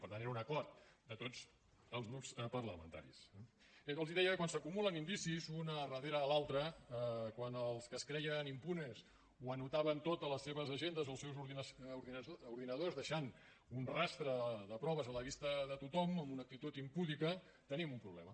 per tant era un acord de tots els grups parlamentaris eh bé els deia que quan s’acumulen indicis un darrere l’altre quan els que es creien impunes ho anotaven tot a les seves agendes o els seus ordinadors i deixaven un rastre de proves a la vista de tothom en una actitud impúdica tenim un problema